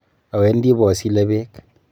Awendi bosile beek.